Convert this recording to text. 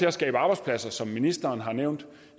at skabe arbejdspladser som ministeren har nævnt